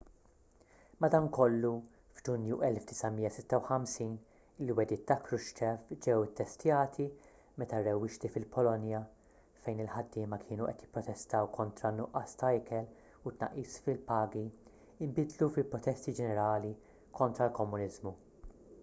madankollu f’ġunju 1956 il-wegħdiet ta’ krushchev ġew ittestjati meta rewwixti fil-polonja fejn il-ħaddiema kienu qed jipprotestaw kontra nuqqas ta’ ikel u tnaqqis fi-pagi inbidlu fi protesti ġenerali kontra l-komuniżmu